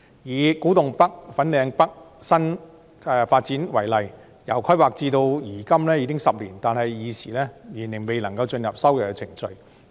以古洞北/粉嶺北新發展區為例，由規劃至今已經10年，但現時仍然未進入收地程序。